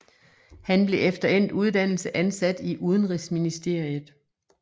Han blev efter endt uddannelse ansat i Udenrigsministeriet